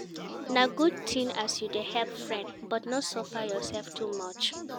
Na good tin as you dey help friend, but no suffer yoursef too much.